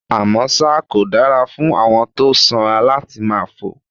Àmọ́ ṣá, kò dára fún àwọn tó sanra láti máa fò